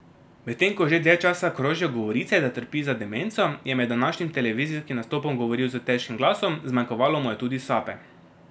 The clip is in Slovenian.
Medtem ko že dlje časa krožijo govorice, da trpi za demenco, je med današnjim televizijskim nastopom govoril s težkim glasov, zmanjkovalo mu je tudi sape.